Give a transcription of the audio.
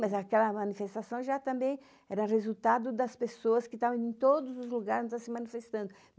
Mas aquela manifestação já também era resultado das pessoas que estavam em todos os lugares se manifestando.